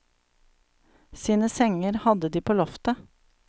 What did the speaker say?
Sine senger hadde de på loftet.